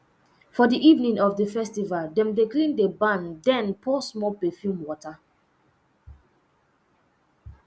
for the evening of the festival dem dey clean the barn then pour small perfume water